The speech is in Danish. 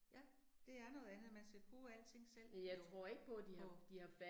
Ja, det er noget andet, man skal kunne alting selv, låne på